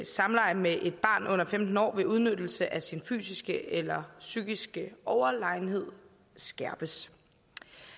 samleje med et barn under femten år ved udnyttelse af sin fysiske eller psykiske overlegenhed skærpes